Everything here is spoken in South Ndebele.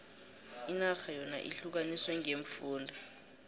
inarha yona ihlukaniswe ngeemfunda